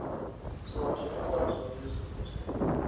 swihoxo hinkwaswo leswi u swi